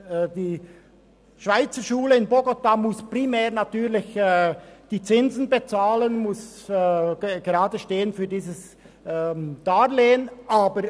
Die Schweizerschule in Bogotá muss natürlich primär die Zinsen bezahlen und für dieses Darlehen geradestehen.